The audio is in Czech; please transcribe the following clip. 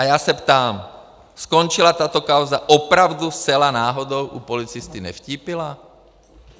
A já se ptám: Skončila tato kauza opravdu zcela náhodou u policisty Nevtípila?